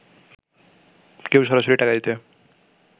কেউ সরাসরি টাকা দিতে